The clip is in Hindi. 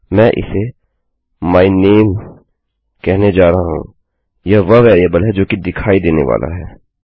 मैं इसे माय नामे कहने जा रहा हूँ यह वह वेरिएबल है जो कि दिखाई देने वाली है